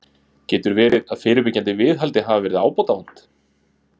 Getur verið að fyrirbyggjandi viðhaldi hafi verið ábótavant?